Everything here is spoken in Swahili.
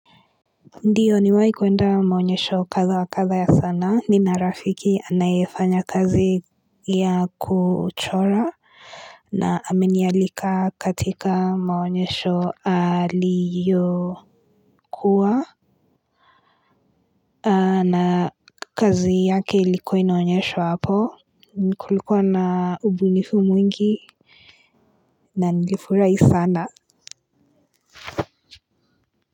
Ndiyo ni waikwenda maonyesho katha wa katha ya sanaa nina rafiki anayefanya kazi ya kuchora na aminialika katika maonyesho aliyo kuwa na kazi yake ilikuwa inaonyeshwa hapo kulikuwa na ubunifu mwingi na nilifurahi sana.